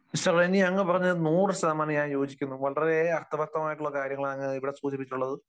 അങ്ങ് പറഞ്ഞതിനോട് നൂറു ശതമാനം ഞാൻ യോജിക്കുന്നു. വളരെ അർത്ഥവത്തായിട്ടുള്ള കാര്യങ്ങൾ ആണ് അങ്ങ് ഇവിടെ സൂചിപ്പിച്ചിട്ടുള്ളത്.